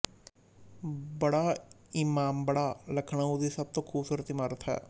ਬੜਾ ਇਮਾਮਬਾੜਾ ਲਖਨਊ ਦੀ ਸਭ ਤੋਂ ਖੂਬਸੂਰਤ ਇਮਾਰਤ ਹੈ